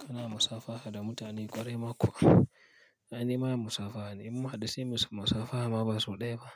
Kana musafaha da mutane ƙwarai ma kuwa? Aini mayen musafaha ne, inmun hadu sai muyi musafaha ma ba sau ɗaya ba.